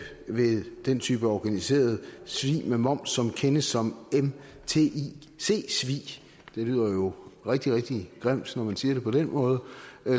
ved den type organiseret svig med moms som kendes som mtic svig det lyder jo rigtig rigtig grimt når man siger det på den måde